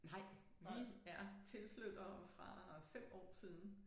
Nej vi er tilflyttere fra 5 år siden